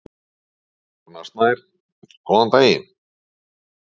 Rúnar Snær: Góðan daginn.